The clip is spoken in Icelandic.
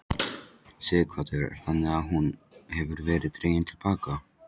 Sighvatur: Þannig að hún hefur verið dregin til baka?